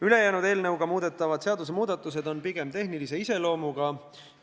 Ülejäänud seadusmuudatused on pigem tehnilise iseloomuga.